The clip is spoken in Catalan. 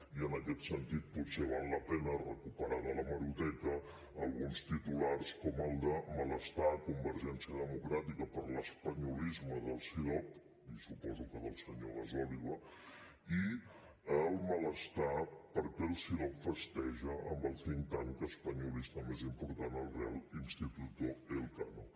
i en aquest sentit potser val la pena recuperar de l’hemeroteca alguns titulars com el de malestar a convergència democràtica per l’espanyolisme del cidob i suposo que del senyor gasòliba i el malestar perquè el cidob festeja amb el think tankel real instituto elcano